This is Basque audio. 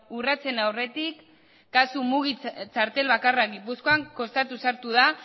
urratsen aurretik kasu mugi txartel bakarra gipuzkoan kostatuz sartu da